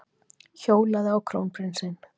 Hjólaði á krónprinsinn